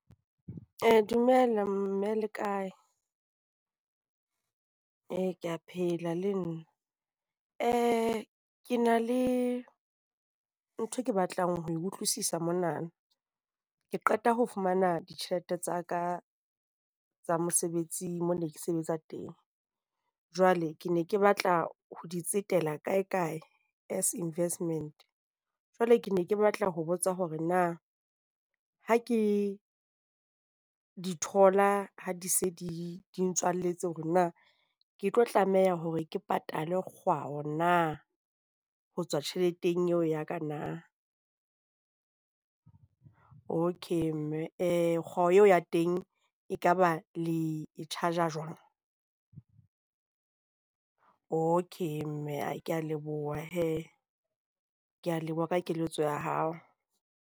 Dumela, mme le kae? Ee, ke a phela le nna. Ke na le ntho ke batlang ho e utlwisisa monana, ke qeta ho fumana ditjhelete tsa ka tsa mosebetsing moo ke ne ke sebetsa teng. Jwale ke ne ke batla ho di tsetela kae kae as investment. Jwale ke ne ke batla ho botsa hore na ha ke di thola ha di se di di ntswalletse hore na ke tlo tlameha hore ke patale kgwao na ho tswa tjheleteng eo ya ka na? Okay, mme kgwao eo ya teng ekaba le e charge-a jwang? Okay, mme. Ke a leboha hee. Ke a leboha ka keletso ya hao.